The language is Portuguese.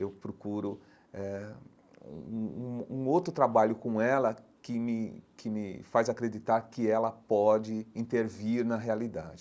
Eu procuro eh um um um um outro trabalho com ela que me que me faz acreditar que ela pode intervir na realidade.